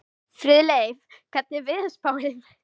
Friðleif, hvernig er veðurspáin?